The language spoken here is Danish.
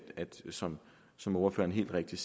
som som ordføreren helt rigtigt